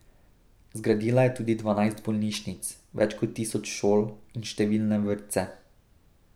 Zgradila je tudi dvanajst bolnišnic, več kot tisoč šol in številne vrtce.